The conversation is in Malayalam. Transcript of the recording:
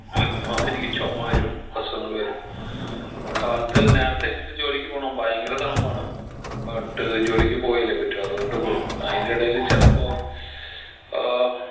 അപ്പൊ എനിക്ക് ചൊമ വരും അസുഖങ്ങൾ വരും കാലത്ത് നേരത്തെ എണീറ്റിട്ട് ജോലിക്ക് പോണം ഭയങ്കര തണുപ്പാണ് but ജോലിക്ക് പോയല്ലേ പറ്റു അതോണ്ട് പോണ് അതിനെടേല് ചെലപ്പോ ഏർ